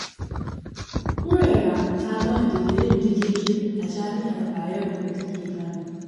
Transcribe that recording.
Huraira ta gama digirin digirgir a Jami'ar Bayero da take Kano.